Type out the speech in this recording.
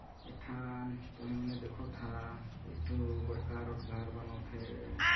एक ठन तुही मने देखा था एक ठो बड़का रो घर बना थे। _